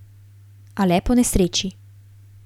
A le ponesreči.